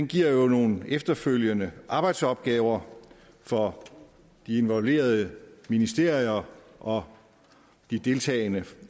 giver jo nogle efterfølgende arbejdsopgaver for de involverede ministerier og de deltagende